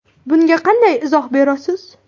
Bunga qanday izoh berasiz?